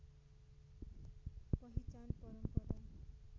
पहिचान परम्परा